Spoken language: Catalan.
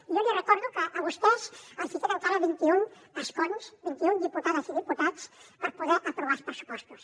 i jo li recordo que a vostès els queden encara vint i un escons vint i un diputades i diputats per poder aprovar els pressupostos